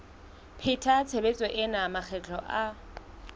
pheta tshebetso ena makgetlo a